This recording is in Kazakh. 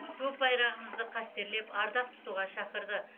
көк байрағымызды қастерлеп ардақ тұтуға шақырды